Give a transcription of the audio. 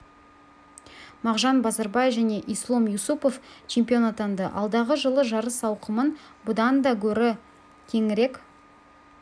мағжан базарбай және ислом юсупов чемпион атанды алдағы жылы жарыс ауқымын бұдан да гөрі кеңірек